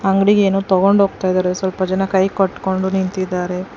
ಅಂಗಡಿಗೆ ಏನೋ ತೊಗೊಂಡ್ ಹೋಗ್ತಾಯಿದರೆ ಸ್ವಲ್ಪ ಜನ ಕೈ ಕಟ್ಕೊಂಡು ನಿಂತಿದ್ದಾರೆ.